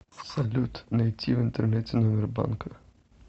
салют найти в интернете номер банка